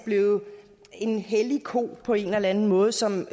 blevet en hellig ko på en eller anden måde som